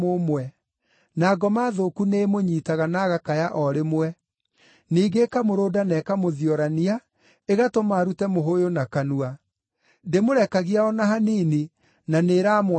na ngoma thũku nĩĩmũnyiitaga na agakaya o rĩmwe; ningĩ ĩkamũrũnda na ĩkamũthiorania, ĩgatũma arute mũhũyũ na kanua. Ndĩmũrekagia o na hanini, na nĩĩramwananga.